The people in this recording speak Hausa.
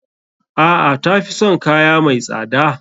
A'a. Tafi son kaya mai tsada.